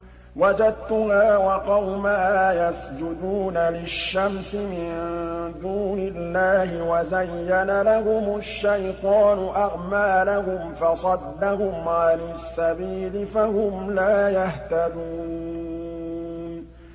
وَجَدتُّهَا وَقَوْمَهَا يَسْجُدُونَ لِلشَّمْسِ مِن دُونِ اللَّهِ وَزَيَّنَ لَهُمُ الشَّيْطَانُ أَعْمَالَهُمْ فَصَدَّهُمْ عَنِ السَّبِيلِ فَهُمْ لَا يَهْتَدُونَ